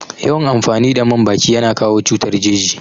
Yawan amfani da man baki yana kawo cutar jeji